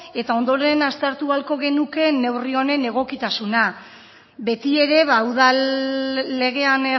eta ondoren aztertu ahalko genuke neurri honen egokitasuna beti ere udal legean